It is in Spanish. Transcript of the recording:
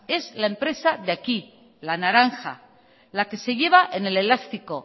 es la empresa de aquí la naranja la que se lleva en el elástico